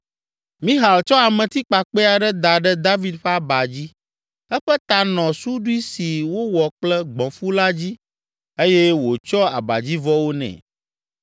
Mixal tsɔ ametikpakpɛ aɖe da ɖe David ƒe aba dzi, eƒe ta nɔ suɖui si wowɔ kple gbɔ̃fu la dzi eye wòtsyɔ abadzivɔwo nɛ.